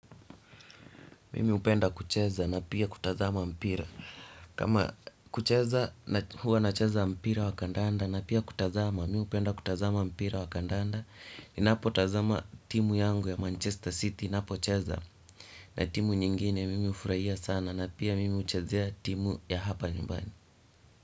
Mimi upenda kucheza na pia kutazama mpira. Kama kucheza huwa nacheza mpira wa kandanda na pia kutazama. Mimi upenda kutazama mpira wa kandanda. Ninapo tazama timu yangu ya Manchester City inapo cheza. Na timu nyingine mimi ufuraia sana na pia mimi uchezea timu ya hapa nyumbani.